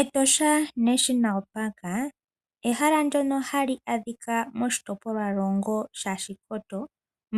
Etosha National Park ehala ndyoka hali adhika moshitopolwalongo Oshikoto